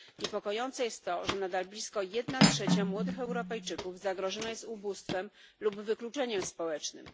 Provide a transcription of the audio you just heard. Niepokojące jest to, że nadal blisko jedna trzecia młodych Europejczyków zagrożona jest ubóstwem lub wykluczeniem społecznym.